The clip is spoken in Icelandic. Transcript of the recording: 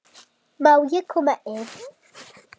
Út með ykkur.